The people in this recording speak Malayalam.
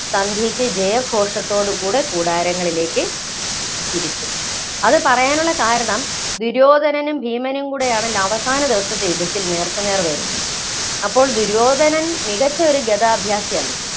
സന്ധ്യക്ക് ജയഘോഷത്തോടു കൂടെ കൂടാരങ്ങളിലേക്ക് തിരിച്ചു. അത് പറയാനുള്ള കാരണം ദുര്യോധനും, ഭീമനും കൂടെയാണല്ലോ അവസാന ദിവസത്തെ യുദ്ധത്തില്‍ നേര്‍ക്കുനേര്‍ വരുന്നത്. അപ്പോള്‍ ദുര്യോധനൻ മികച്ച ഒരു ഗദാഭ്യാസിയാണ്.